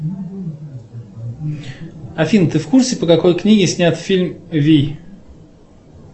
афина ты в курсе по какой книге снят фильм вий